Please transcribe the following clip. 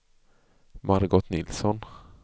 Margot Nilsson